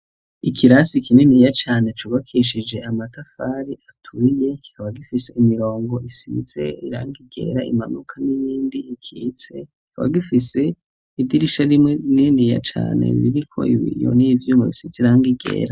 Ikirasi kininiya cane cubakishije amatafari aturiye kikaba gifise imirongo isize irangi ryera rimanuka n'irindi rikitse. Kikaba gifise idirisha rimwe rininiya cane ririko ibiyo n'ivyuma bisize irangi ryera.